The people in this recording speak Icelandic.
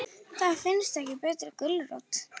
Það finnst ekki betri gulrót.